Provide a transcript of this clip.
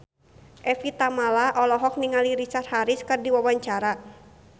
Evie Tamala olohok ningali Richard Harris keur diwawancara